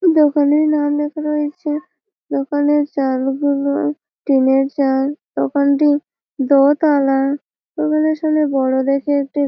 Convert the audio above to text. দোকানের নাম লেখা রয়েছে। দোকানের চাল গুলোও টিনের চাল । দোকানটি দো-তালা । দোকানের সামনে বড়ো দেখে একটি--